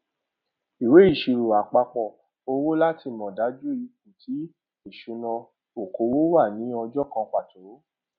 ìwé ìsirò àpapọ owó láti mọ dájú ipò ti ìṣúnná okòwò wà ni ọjọ kan pàtó